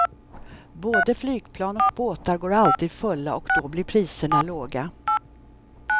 Både flygplan och båtar går alltid fulla och då blir priserna låga.